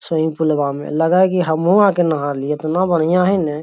Swimming पुलवा में लगय की हमहु आके नहा लिए एतना बढ़िया हय नय।